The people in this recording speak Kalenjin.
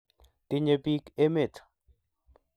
tinye pik emet